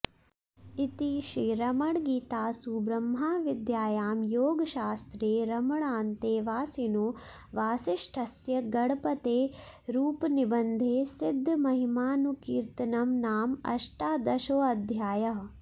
इति श्रीरमणगीतासु ब्रह्मविद्यायां योगशास्त्रे रमणान्तेवासिनो वासिष्ठस्य गणपतेरुपनिबन्धे सिद्धमहिमानुकीर्तनं नाम अष्टादशोऽध्यायः